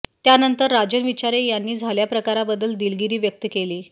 त्यानंतर राजन विचारे यांनी झाल्या प्रकाराबद्दल दिलगिरी व्यक्त केली